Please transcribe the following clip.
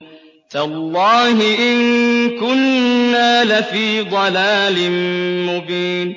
تَاللَّهِ إِن كُنَّا لَفِي ضَلَالٍ مُّبِينٍ